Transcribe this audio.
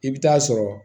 I bɛ taa sɔrɔ